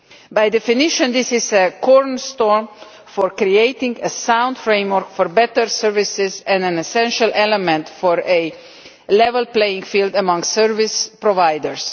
By definition this is a cornerstone for creating a sound framework for better services and an essential element for a level playing field among service providers.